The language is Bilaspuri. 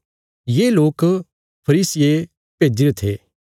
ये लोक फरीसियें भेज्जीरे थे